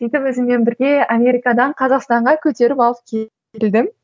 сөйтіп өзіммен бірге америкадан қазақстанға көтеріп алып келдім